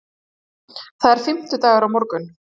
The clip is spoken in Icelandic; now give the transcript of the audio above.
Það er fimmtudagur á morgun.